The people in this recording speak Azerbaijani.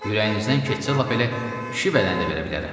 Ürəyinizdən keçsə, lap elə kişi bədəni də verə bilərəm.